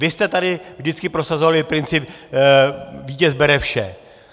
Vy jste tady vždycky prosazovali princip vítěz bere vše.